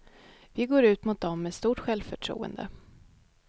Vi går ut mot dom med stort självförtroende.